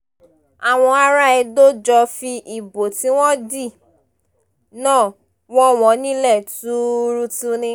àwọn ará edo jọ fi ìbò tí wọ́n dì náà wọ̀ wọ́n nílẹ̀ tuurutu ni